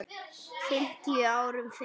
fimmtíu árum fyrr.